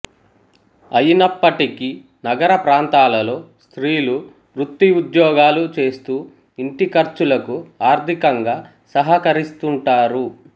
అయినప్పటికీ నగరప్రాంతాలలో స్త్రీలు వృత్తిఉద్యోగాలు చేస్తూ ఇంటిఖర్చులకు ఆర్ధికంగా సహకరిస్తుంటారు